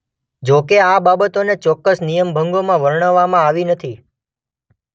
જોકે આ બાબતોને ચોક્કસ નિયમભંગોમાં વર્ણવવામાં આવી નથી.